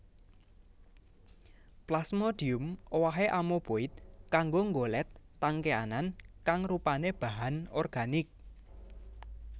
Plasmodium owahé amoeboid kanggo nggolet tangkéanan kang rupané bahan organik